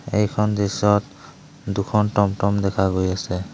এইখন দৃশ্যত দুখন টম টম দেখা গৈ আছে।